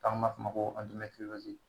N'an b'a f'o ma ko